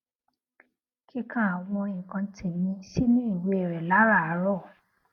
kíka àwọn nǹkan tèmí sínú ìwé rè láràárò